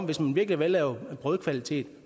hvis man virkelig vil lave brødkvalitet